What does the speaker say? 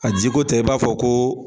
A jiko tɛ i b'a fɔ ko